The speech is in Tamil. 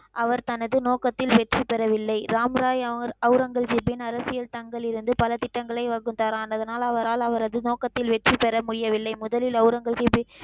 அவர் தனது நோக்கத்தில் வெற்றி பெறவில்லை. ராம் ராய் அவுரங்கசிப் அரசியல் தங்களிலிருந்து பல திட்டங்களை வகுத்தார். ஆனதனால் அவரால் அவரது நோக்கத்தில் வெற்றி பெற முயவில்லை. முதலில் அவுரங்கசிப்பின்,